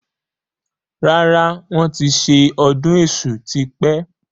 Rárá, wọn ti ṣe ọdún èṣù tí pẹ́